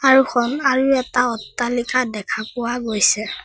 সন্মুখত আৰু এটা অট্টালিকা দেখা পোৱা গৈছে।